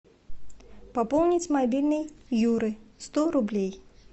пополнить мобильный юры сто рублей